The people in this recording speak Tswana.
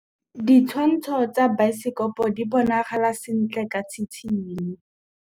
Ditshwantshô tsa biosekopo di bonagala sentle ka tshitshinyô.